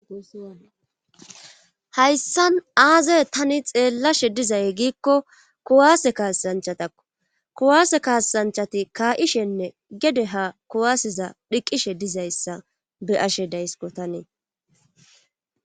hayssan aaze tani xeellashe dizay giikko kuwaase kaassanchatakko kuwaase kaasanchati kaa7ishenne gede ha kuwaaseza dhiqqishe dizayssa be7ashe daysko tani